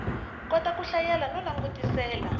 kota ku hlayela no langutisela